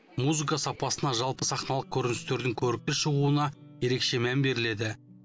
музыка сапасына жалпы сахналық көріністердің көрікті шығуына ерекше мән беріледі